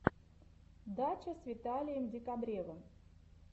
дача с виталием декабревым